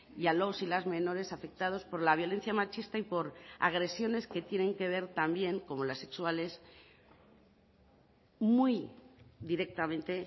y a los y las menores afectados por la violencia machista y por agresiones que tienen que ver también como las sexuales muy directamente